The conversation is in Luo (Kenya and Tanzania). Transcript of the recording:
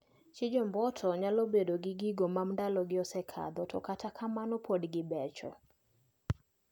Chich omboto nyalo bedo gi gigo mandalo gi osekadho to kata kamano pod gibecho.